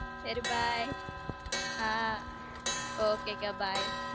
சேரி bye ஆஹ் ok கா bye